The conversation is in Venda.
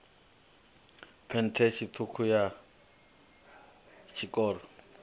phesenthe ṱhukhu ya tshiṱoko tshiṱoko